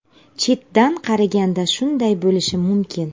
Chetdan qaraganda shunday bo‘lishi mumkin.